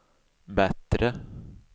bättre